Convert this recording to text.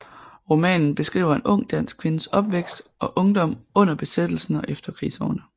Romanen beskriver en ung dansk kvindes opvækst og ungdom under besættelsen og efterkrigsårene